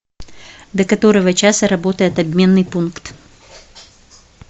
до которого часа работает обменный пункт